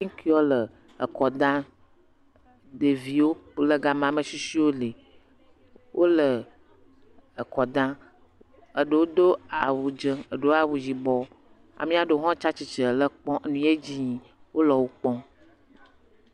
Ŋkeawo le ekɔ dam. Ɖeviwo le ga ma. Ame tsitsiwo li. Wo le ekɔ dam, eɖewo do awu dze, eɖewoa awu yibɔ ame aɖewo hã tsi atsitre le ekpɔm nu yie d zi yim. Wo le wokpɔm.